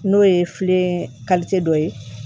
N'o ye filen dɔ ye